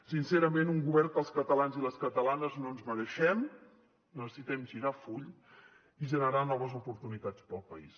sincerament un govern que els catalans i les catalanes no ens mereixem necessitem girar full i generar noves oportunitats pel país